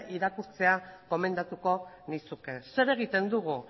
irakurtzea gomendatuko nizuke zer egiten dugu